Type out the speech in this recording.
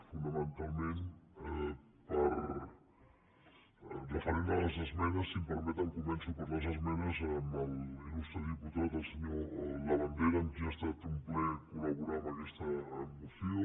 fonamentalment referent a les esmenes si m’ho permeten començo per les esmenes amb l’il·lustre diputat senyor labandera amb qui ha estat un plaer col·laborar en aquesta moció